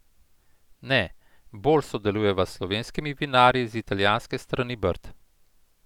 Ne, bolj sodelujeva s slovenskimi vinarji z italijanske strani Brd.